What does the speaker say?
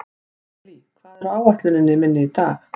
Elí, hvað er á áætluninni minni í dag?